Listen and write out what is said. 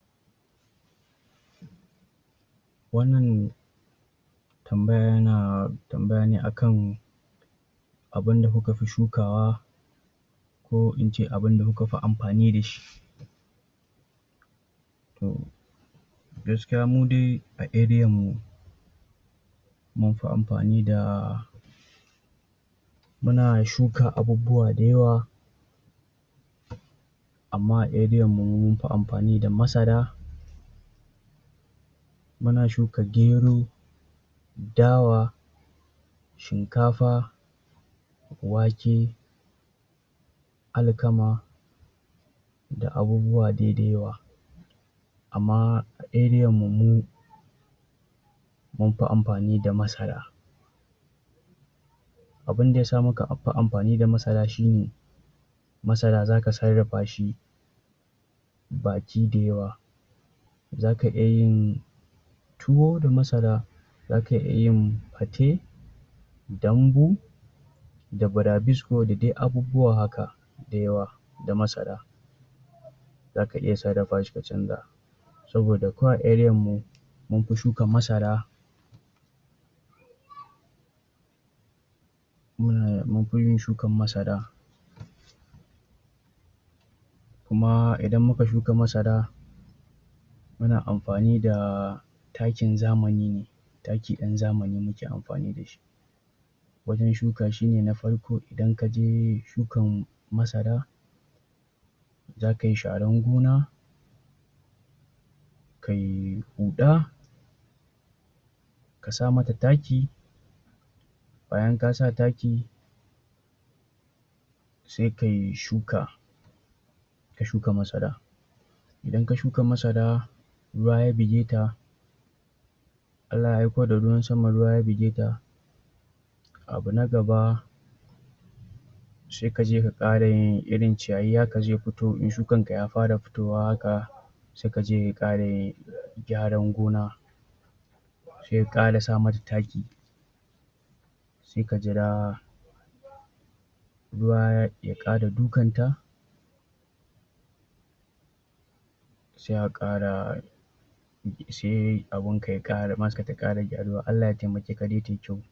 Wannan tambaya yana tambaya ne akan abunda muka fi shukawa, ko ince abunda muka fi amfani da shi. Toh, gaskiya mu de a arean mu, mun fi ampani da muna shuka abubbuwa da yawa, amma a arean mu mun fi amfani da masara, muna shuka gero, dawa, shinkafa, wake, alkama da abubbuwa de da yawa. Amma a arean mu, munfu amfani da masara. Abun da yasa muka a fu amfani da masara shine, masara zaka sarrafa shi baki da yawa, za ka iya yin tuwo da masara, zaka iya yin fate, dambu, da burabisko, da dai abubbuwa haka da yawa da masara, zaka iya sarrafa shi ka canza. Saboda ko a arean mu, munfu shuka masara munfu yin shukan masara, kuma idan muka shuka masara muna amfani da takin zamani ne, taki ɗan zamani muke amfani da shi wajen shuka shine na farko, idan kaje shukan masara zaka yi sharan gona, kai huɗa, ka sa mata taki, bayan ka sa taki, se kai shuka, ka shuka masara, idan ka shuka masara ruwa ya bige ta, Allah ya aiko da ruwan sama ruwa ya bige ta, abu na gaba se kaje ka ƙara yin irin ciyayi haka za futo in shukan ka ya fara fitowa haka, sai kaje ka ƙara yin gyaran gona, se ƙara sa mata taki, se ka jira ruwa ya ƙara dukan ta se a ƙara um se abun ka ya ƙara masarar ka ta ƙara gyaruwa, Allah ya temake ka dai tai kyau.